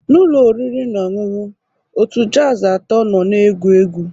N'ụlọ oriri na ọṅụṅụ, otu jazz atọ nọ na-egwu egwu.